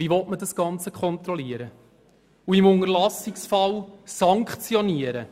Wie soll das Ganze kontrolliert und im Unterlassungsfall sanktioniert werden?